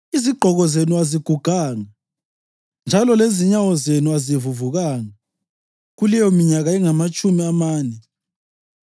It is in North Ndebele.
Izigqoko zenu aziguganga njalo lezinyawo zenu azivuvukanga kuleyo minyaka engamatshumi amane.